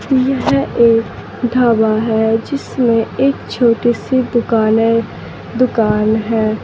यह एक ढ़ाबा है जिसमें एक छोटी सी दुकान है। दुकान है।